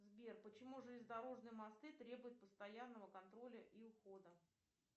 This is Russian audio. сбер почему железнодорожные мосты требуют постоянного контроля и ухода